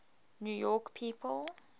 new york people